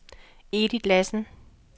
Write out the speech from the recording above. Edith Lassen